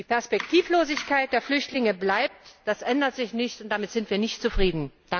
Die Perspektivlosigkeit der Flüchtlinge bleibt, das ändert sich nicht, und damit sind wir nicht zufrieden.